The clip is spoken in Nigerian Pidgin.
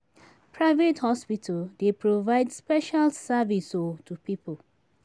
Private hospital dey provide special service um to pipo